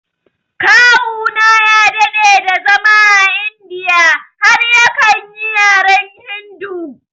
Kawuna ya daɗe da zama a India har yakan yi yaren Hindu